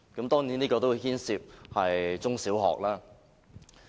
當然，這牽涉中、小學。